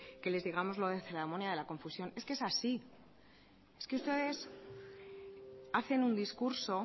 que les digamos lo de la ceremonia de la confusión es que es así es que ustedes hacen un discurso